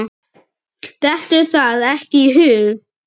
Dettur það ekki í hug.